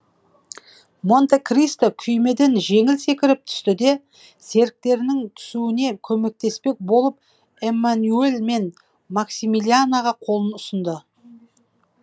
монте кристо күймеден жеңіл секіріп түсті де серіктерінің түсуіне көмектеспек болып эмманюель мен максимилианаға қолын ұсынды